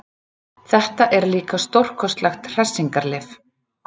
Þetta er líka stórkostlegt hressingarlyf.